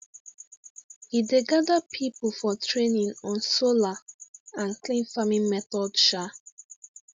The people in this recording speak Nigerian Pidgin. he dey gather people for training on solar and clean farming method um